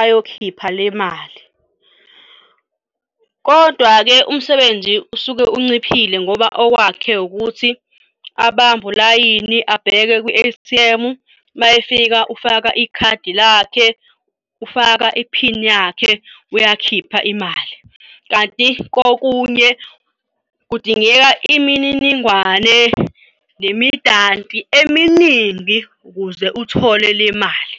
ayokhipha le mali. Kodwa-ke umsebenzi usuke unciphile ngoba okwakhe ukuthi abambe ulayini abheke kwi-A_T_M. Uma efika ufaka ikhadi lakhe, ufaka iphini yakhe uyakhipha imali. Kanti kokunye kudingeka imininingwane nemidanti eminingi ukuze uthole le mali.